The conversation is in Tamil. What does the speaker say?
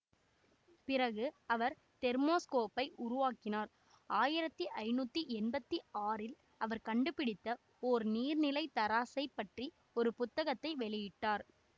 பிறகு அவர் தெர்மோஸ்கோப்பை உருவாக்கினார் ஆயிரத்தி ஐநூற்றி எம்பத்தி ஆறில் அவர் கண்டுபிடித்த ஒரு நீர்நிலை தராசை பற்றி ஒரு புத்தகத்தை வெளியிட்டார்